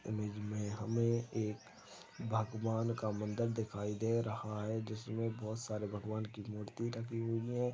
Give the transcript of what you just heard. --Image मे हमे एक भगवान का मंदर दिखाई दे रहा है जिसमे बहोत सारे भगवान की मूर्ति रखी हुई है।